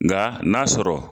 Nga na sɔrɔ